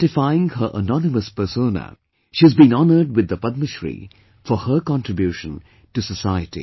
Identifying her anonymous persona, she has been honoured with the Padma Shri for her contribution to society